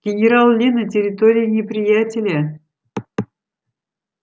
генерал ли на территории неприятеля